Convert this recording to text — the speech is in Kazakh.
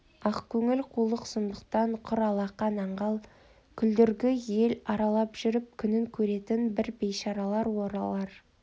ақкөңіл қулық-сұмдықтан құр алақан аңғал күлдіргі ел аралап жүріп күнін көретін бір бейшаралар олар